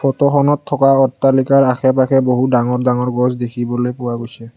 Photo খনত থকা অট্টালিকাৰ আশে পাশে বহুত ডাঙৰ ডাঙৰ গছ দেখিবলৈ পোৱা গৈছে।